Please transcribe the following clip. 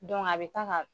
a bɛ taa ka